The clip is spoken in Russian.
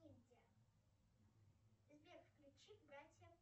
сбер включи братья